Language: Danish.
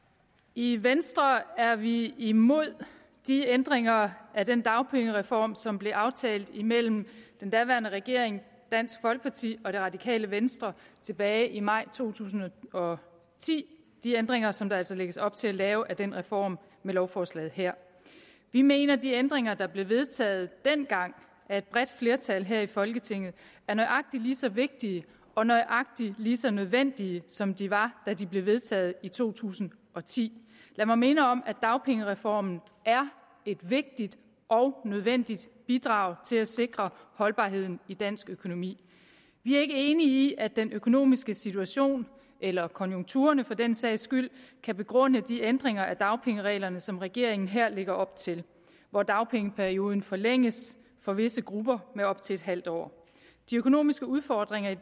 i venstre er vi imod de ændringer af den dagpengereform som blev aftalt imellem den daværende regering dansk folkeparti og det radikale venstre tilbage i maj to tusind og ti de ændringer som der altså lægges op til at lave af den reform med lovforslaget her vi mener at de ændringer der blev vedtaget dengang af et bredt flertal her i folketinget er nøjagtig lige så vigtige og nøjagtig lige så nødvendige som de var da de blev vedtaget i to tusind og ti lad mig minde om at dagpengereformen er et vigtigt og nødvendigt bidrag til at sikre holdbarheden i dansk økonomi vi er ikke enige i at den økonomiske situation eller konjunkturerne for den sags skyld kan begrunde de ændringer af dagpengereglerne som regeringen her lægger op til hvor dagpengeperioden forlænges for visse grupper med op til en halv år de økonomiske udfordringer